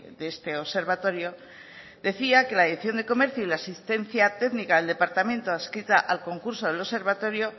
de este observatorio decía que la dirección de comercio y la asistencia técnica del departamento adscrita al concurso del observatorio